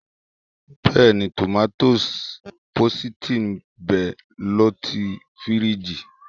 Bẹ́ẹ̀ni, tomato pesìtì n bẹ lótí fìríìjì